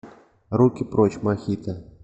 руки прочь мохито